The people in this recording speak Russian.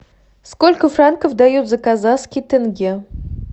сколько франков дают за казахский тенге